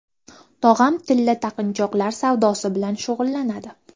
Tog‘am tilla taqinchoqlar savdosi bilan shug‘ullanadi.